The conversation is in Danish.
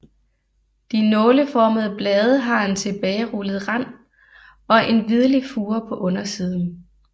De nåleformede blade har en tilbagerullet rand og en hvidlig fure på undersiden